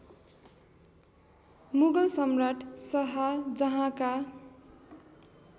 मुगल सम्राट शहाजहाँका